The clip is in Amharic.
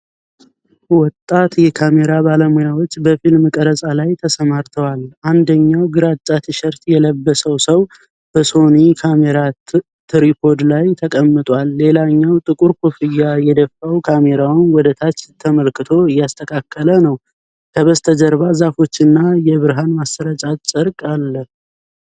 ወጣት የካሜራ ባለሙያዎች በፊልም ቀረጻ ቦታ ላይ ተሰማርተዋል። አንደኛው ግራጫ ቲሸርት የለበሰው ሰው በሶኒ ካሜራ ትሪፖድ ላይ ተቀምጧል። ሌላኛው ጥቁር ኮፍያ የደፋው ካሜራውን ወደታች ተመልክቶ እያስተካከለ ነው። ከበስተጀርባ ዛፎችና የብርሃን ማሰራጫ ጨርቅ አለ።